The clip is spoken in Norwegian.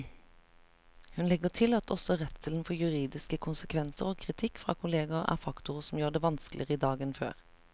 Hun legger til at også redselen for juridiske konsekvenser og kritikk fra kolleger er faktorer som gjør det vanskeligere i dag enn før.